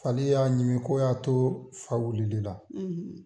Fali y'a ɲimi k'o y'a to fa wulil'ila